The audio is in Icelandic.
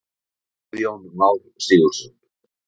Guðjón Már Sigurðsson.